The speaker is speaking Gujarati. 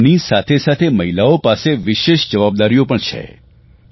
પરંતુ કામની સાથે સાથે મહિલાઓ પાસે વિશેષ જવાબદારીઓ પણ છે